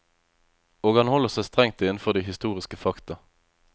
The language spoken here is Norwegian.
Og han holder seg strengt innenfor de historiske fakta.